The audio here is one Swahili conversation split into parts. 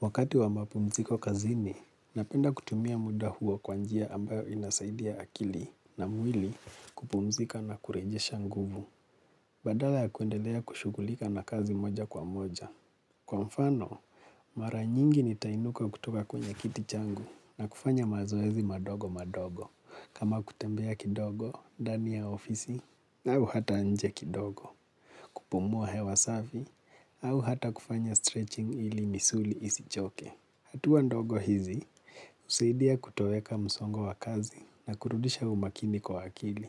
Wakati wa mapumziko kazini, napenda kutumia muda huo kwanjia ambayo inasaidia akili na mwili kupumzika na kurejisha nguvu. Badala ya kuendelea kushugulika na kazi moja kwa moja. Kwa mfano, mara nyingi nitainuka kutuka kwenye kiti changu na kufanya mazoezi madogo madogo. Kama kutembea kidogo ndani ya ofisi, au hata nje kidogo kupumua hewa safi, au hata kufanya stretching ili misuli isichoke. Hatuwa ndogo hizi, husaidia kutoweka msongo wa kazi na kurudisha umakini kwa akili.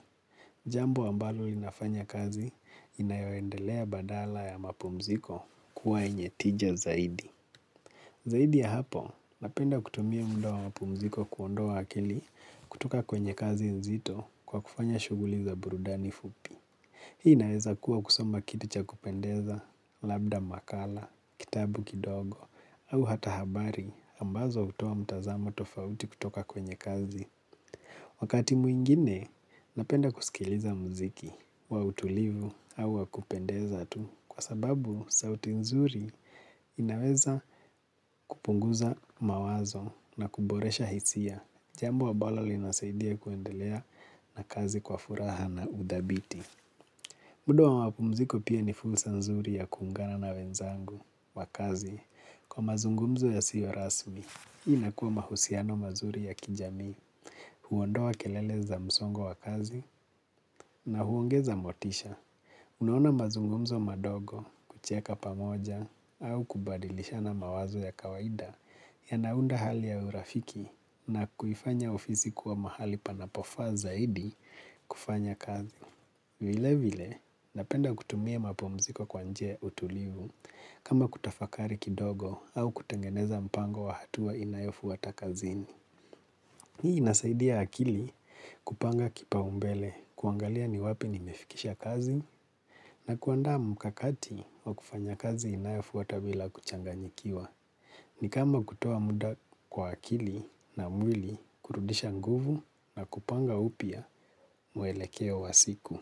Jambo ambalo linafanya kazi inayoendelea badala ya mapumziko kuwa yenye tija zaidi. Zaidi ya hapo, napenda kutumia muda wa mapumziko kuondoa wa akili kutoka kwenye kazi nzito kwa kufanya shuguli za burudani fupi. Hii inaweza kuwa kusoma kitu cha kupendeza, labda makala, kitabu kidogo, au hata habari ambazo hutuwa mtazamo tofauti kutoka kwenye kazi. Wakati mwingine, napenda kusikiliza mziki wa utulivu au wakupendeza tu kwa sababu sauti nzuri inaweza kupunguza mawazo na kuboresha hisia. Jambo ambalo linasaidia kuendelea na kazi kwa furaha na udhabiti. Muda wa mapumziko pia ni fursa nzuri ya kuungana na wenzangu wa kazi, kwa mazungumzo yasiyo rasmi. Hii inakuwa mahusiano mazuri ya kijamii, huondoa kelele za msongo wa kazi na huongeza motisha. Unaona mazungumzo madogo kucheka pamoja au kubadilishana mawazo ya kawaida yanaunda hali ya urafiki na kuifanya ofizi kuwa mahali panapofa zaidi kufanya kazi. Vile vile napenda kutumie mapumziko kwa njia ya utulivu kama kutafakari kidogo au kutengeneza mpango wa hatua inayofata kazini. Hii inasaidia akili kupanga kipaumbele kuangalia ni wapi nimefikisha kazi na kuanda mkakati wa kufanya kazi inayofata bila kuchanganyikiwa. Ni kama kutoa muda kwa akili na mwili kurudisha nguvu na kupanga upya muelekeo wa siku.